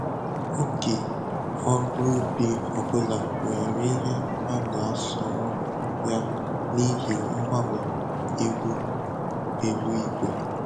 Oge ọrụ ubi ọbụla nwere ihe a na-asọrọ ya n'ihi mgbanwe ihu eluigwe